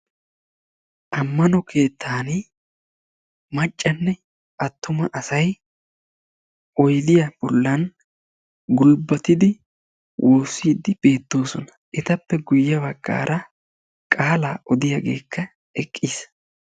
Ammano keettaani maccanne attuma asay oyidiya bollan gulbatidi woossiiddi beettoosona. Etappe guyye baggaara qaalaa odiyaagekka eqqis.